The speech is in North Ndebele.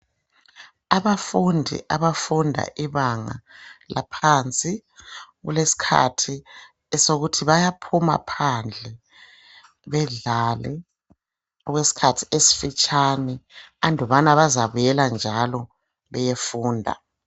Abafundi abafunda ibanga laphansi, kulesikhathi sokuthi bayaphuma phandle bedlale okwesikhathi esifatshane andubana bazabuyela njalo beyefunda.